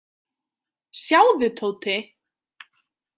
Sjáðu, Tóti.